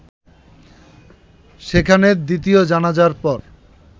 সেখানে দ্বিতীয় জানাজার পর